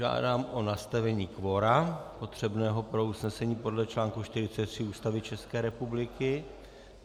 Žádám o nastavení kvora potřebného pro usnesení podle článku 43 Ústavy České republiky.